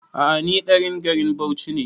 A'a ni ɗan garin Bauchi ne